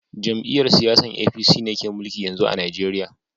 Jam'iyyar siyasan APC ne ke mulki yanzu a Najeriya